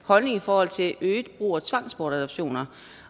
holdning i forhold til øget brug af tvangsbortadoptioner